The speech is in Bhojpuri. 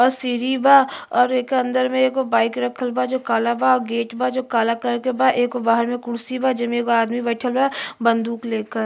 आ सीढ़ी बा और एकर अंदर में एगो बाइक रखल बा जो काला बा गेट बा जो काला कलर के बा। एगो बाहर में कुर्सी बा जेमें एगो आदमी बइठल बा बंदूक लेकर।